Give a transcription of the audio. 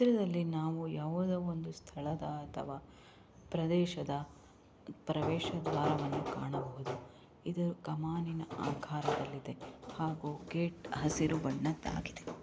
ಇಲ್ಲಿ ನಾವು ಒಂದು ಯಾವುದೊ ಒಂದು ಸ್ಥಳದ ಅಥವಾ ಪ್ರದೇಶದ ಪ್ರವೇಶವನ್ನು ನಾವು ಕಾಣಬಹುದು ಇದು ಕಮಾನಿನ ಆಕಾರದಲ್ಲಿದೆ ಹಾಗೂ ಗೇಟ್ ಹಸಿರು ಬಣ್ಣದ್ದು ತಾಗಿದೆ.